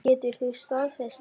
Getur þú staðfest það?